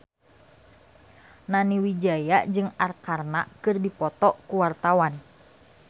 Nani Wijaya jeung Arkarna keur dipoto ku wartawan